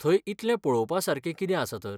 थंय इतलें पळवपासारकें कितें आसा तर?